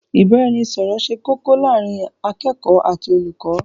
ìbáraẹnisọọ̀rọ̀ ṣe kókó láàrín akẹ́kọ̀ọ́ àti olùkọ́.